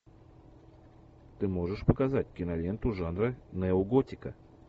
ты можешь показать киноленту жанра неоготика